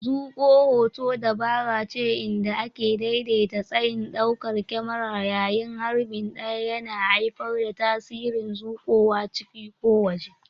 Zuƙo hoto dabarace inda ake daidaita tsayin daukar kyamarar yayin harbi ɗaya, yana haifar da tasirin zuƙowa ciki ko waje.